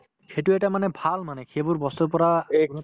সিটো এটা মানে ভাল মানে সেইবোৰ বস্তুৰ পৰা